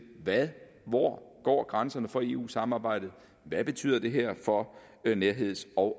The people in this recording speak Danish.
hvor går grænserne for eu samarbejdet hvad betyder det her for nærheds og